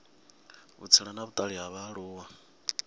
vhutsila na vhutali ha vhaaluwa